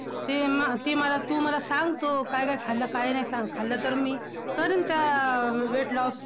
ते म ~ ते मला, तू मला सांग तू काय काय खाल्लं काय नाही सांग खाल्लं, तर मी करीन त्या weight loss.